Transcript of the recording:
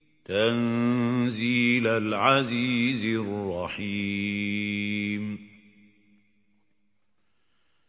تَنزِيلَ الْعَزِيزِ الرَّحِيمِ